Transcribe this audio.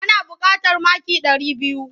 Ana buƙatar maki ɗari biyu.